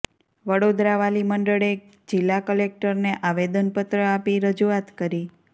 વડોદરા વાલી મંડળે જિલ્લા કલેક્ટરને આવેદનપત્ર આપી રજૂઆત કરી